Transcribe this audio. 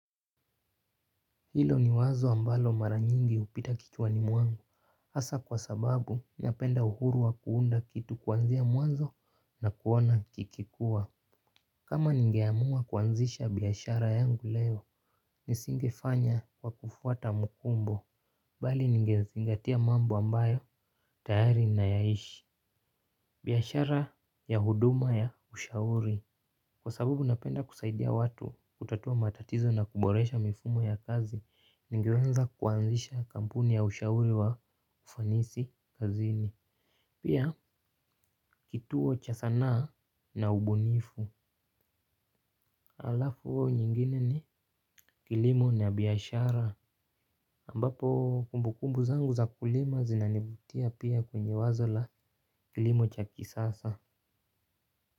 Hilo ni wazo ambalo mara nyingi hupita kichwani mwangu hasa kwa sababu ninapenda uhuru wa kuunda kitu kuanzia mwanzo na kuona kikikua. Kama ningeamua kuanzisha biashara yangu leo, nisingefanya kwa kufuata mkumbo, bali ningezingatia mambo ambayo, tayari nayaishi. Biashara ya huduma ya ushauri, kwa sababu unapenda kusaidia watu kutatua matatizo na kuboresha mifumo ya kazi. Ningeweza kuanzisha kampuni ya ushauri wa ufanisi kazini. Pia, kituo cha sanaa na ubunifu. Alafu nyingine ni, kilimo na biashara. Ambapo, kumbukumbu zangu za kulima zinanivutia pia kwenye wazo la kilimo cha kisasa.